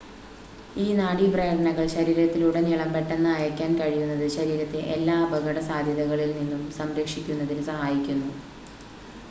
ഈ നാഡി പ്രേരണകൾ ശരീരത്തിലുടനീളം പെട്ടെന്ന് അയക്കാൻ കഴിയുന്നത് ശരീരത്തെ എല്ലാ അപകട സാധ്യതകളിൽ നിന്നും സംരക്ഷിക്കുന്നതിന് സഹായിക്കുന്നു